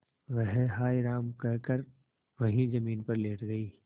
वह हाय राम कहकर वहीं जमीन पर लेट गई